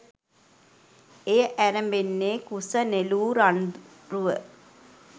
එය ඇරඹෙන්නේ කුස නෙළූ රන් රුව